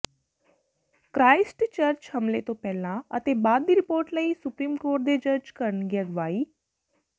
Christchurch ਹਮਲੇ ਤੋਂ ਪਹਿਲਾਂ ਅਤੇ ਬਾਅਦ ਦੀ ਰਿਪੋਰਟ ਲਈ ਸੁਪਰੀਮ ਕੋਰਟ ਦੇ ਜੱਜ ਕਰਨਗੇ ਅਗਵਾਈ